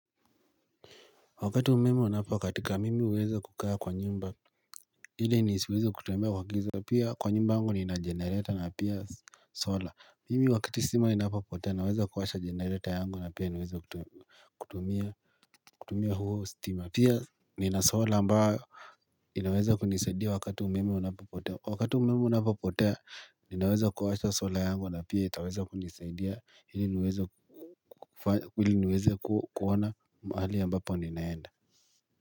Wakati umeme unapokatika mimi huweza kukaa kwa nyumba ili nisiweze kutembea kwa giza pia kwa nyumba yangu nina jenereta na pia solar mimi wakati stima inapapotea naweza kuwasha generator yangu na pia niweza kutumia kutumia huo stima pia nina sola ambayo inaweza kunisadia wakati umeme unapopotea wakati umeme unapapotea inaweza kuwasha sola yangu na pia itaweza kunisadia ili niweze ili niweze kuona mahali ambapo ninaenda.